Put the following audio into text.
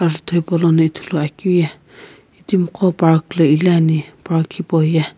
ajutho hipaulono ithuluakeu ye itimi qo park lo iliani park hipauye.